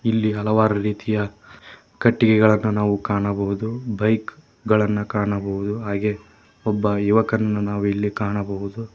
ಇಲ್ಲಿ ಹಲವಾರು ರೀತಿಯ ಕಟ್ಟಿಗೆಗಳನ್ನು ನಾವು ಕಾಣಬಹುದು ಬೈಕ್ ಗಳನ್ನು ಕಾಣಬಹುದು ಹಾಗೆ ಒಬ್ಬ ಯುವಕನನ್ನು ನಾವಿಲ್ಲಿ ಕಾಣಬಹುದು.